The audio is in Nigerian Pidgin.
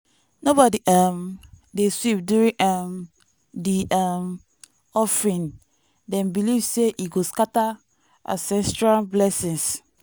nobody um dey sweep during um di um offering dem believe say e go scatter ancestral blessings.